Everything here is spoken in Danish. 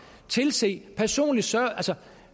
tilse personligt